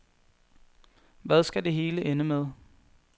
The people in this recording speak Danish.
Hvad skal det hele ende med?